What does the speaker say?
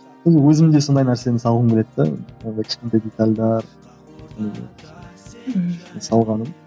ол өзімде сондай нәрсені салғым келеді де мынандай кішкентай детальдер ііі салғаным